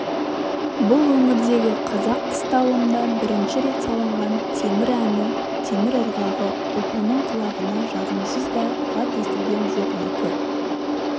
бұл өңірдегі қазақ қыстауында бірінші рет салынған темір әні темір ырғағы ұлпанның құлағына жағымсыз да жат естілген жоқ екі